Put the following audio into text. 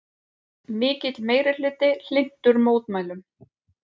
Mikill meirihluti hlynntur mótmælum